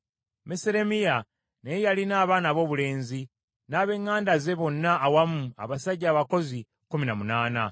Meseremiya naye yalina abaana aboobulenzi, n’ab’eŋŋanda ze bonna awamu abasajja abakozi, kkumi na munaana.